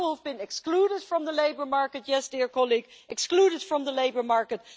People have been excluded from the labour market yes, dear colleague excluded from the labour market.